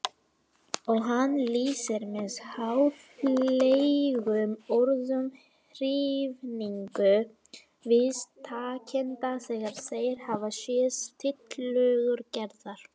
Og hann lýsir með háfleygum orðum hrifningu viðtakenda þegar þeir hafa séð tillögur Gerðar.